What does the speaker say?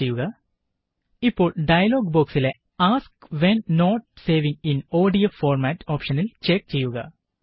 click ചെയ്യുക ഇപ്പോള് dialogue ബോക്സിലെ ask when not saving in ODF format ഓപ്ഷനില് ചെക്ക് ചെയ്യുക